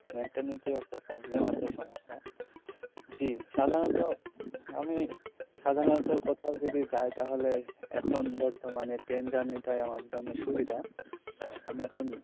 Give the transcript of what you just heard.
mentality এর একটা problem আছে সমস্যা জী সাধারণত আমি সাধারণত কোথাও যদি যাই তাহলে এখন বর্তমানে ট্রেন journey টাই আমার জন্য সুবিধা আমি এখন.